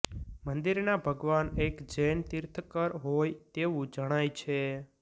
મંદિરના ભગવાન એક જૈન તીર્થંકર હોય તેવું જણાય છે